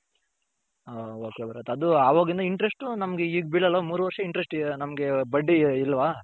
ಹ ok ಬರತ್ interest ನಮ್ಮಗೆ ಈಗ ಬಿಳಲ್ವ ನಮ್ಮಗೆ ಬಡ್ಡಿ ಇಲ್ವಾ .